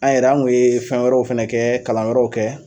An yɛrɛ an kun ye fɛn wɛrɛw fana kɛ kalanyɔrɔw kɛ.